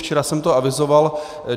Včera jsem to avizoval.